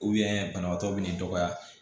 banabaatɔ bɛ n'i dɔgɔya